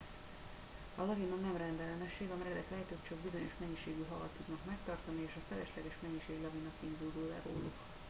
a lavina nem rendellenesség a meredek lejtők csak bizonyos mennyiségű havat tudnak megtartani és a felesleges mennyiség lavinaként zúdul le róluk